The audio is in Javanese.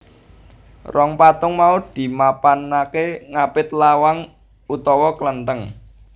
Rong patung mau dimapanake ngapit lawang utama kelenteng